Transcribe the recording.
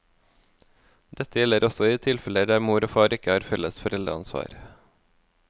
Dette gjelder også i de tilfeller der mor og far ikke har felles foreldreansvar.